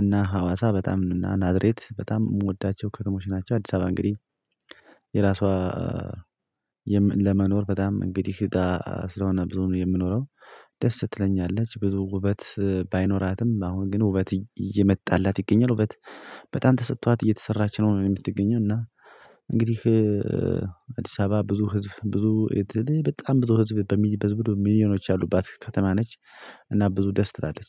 እና ሀዋሳ በጣም እና ናዝሪት በጣም የምወዳቸው ከተሞች ናቸው አዲስ አበባ እንግዲህ የራሷ ለመኖር በጣም እንግዲህ ስለሆነ ብዙ የምኖረው ደስ ትለኛለች ብዙ ውበት ባይኖራትም አሁን ግን ውበት እየመጣላት ይገኛል ውበት በጣም ተሰጥቷት እየተሰራች ነው የምትገኘው እና እንግዲህ አዲስ አበባ ብዙ ህዝብ ብዙ በጣም ብዙ ህዝብ በሚል በሚል ሚሊዮኖች አሉባት ከተማ ነች እና ብዙ ደስ ትላለች